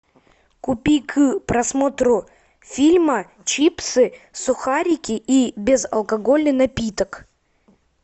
купи к просмотру фильма чипсы сухарики и безалкогольный напиток